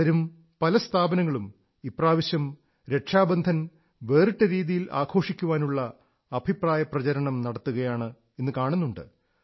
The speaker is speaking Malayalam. പലരും പല സ്ഥാപനങ്ങളും ഇപ്രാവശ്യം രക്ഷാബന്ധനം വേറിട്ട രീതിയിൽ ആഘോഷിക്കാനുള്ള അഭിപ്രായപ്രചരണം നടത്തുകയാണ് എന്നു കാണുന്നുണ്ട്